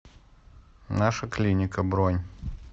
наша клиника бронь